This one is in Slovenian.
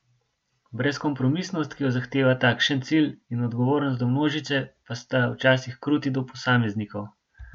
Brezkompromisnost, ki jo zahteva takšen cilj, in odgovornost do množice pa sta včasih kruti do posameznikov.